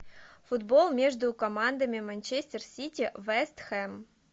футбол между командами манчестер сити вест хэм